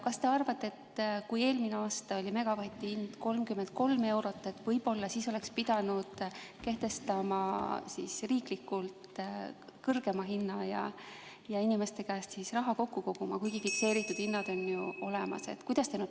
Kas te arvate, et kui eelmine aasta oli megavati hind 33 eurot, võib-olla siis oleks pidanud kehtestama riiklikult kõrgema hinna ja inimeste käest raha kokku koguma, kuigi fikseeritud hinnad on ju olemas?